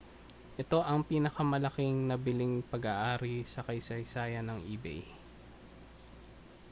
ito ang pinakamalaking nabiling pag-aari sa kasaysayan ng ebay